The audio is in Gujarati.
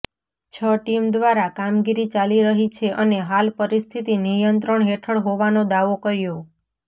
છ ટીમ દ્વારા કામગીરી ચાલી રહી છે અને હાલ પરિસ્થિતિ નિયંત્રણ હેઠળ હોવાનો દાવો કર્યો